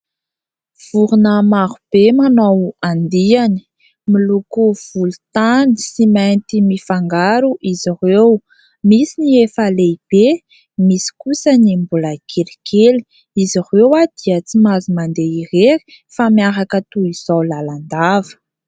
Vorona marobe manao andiany. Miloko volontany sy mainty mifangaro izy ireo. Misy ny efa lehibe, misy kosa ny mbola kelikely. Izy ireo dia tsy mahazo mandeha irery fa miaraka toy izao lalandava.